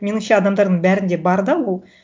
меніңше адамдардың бәрінде бар да ол